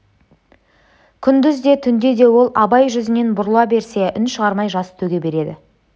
күндіз де түнде де ол абай жүзінен бұрыла берсе үн шығармай жас төге береді